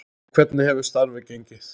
En hvernig hefur starfið gengið?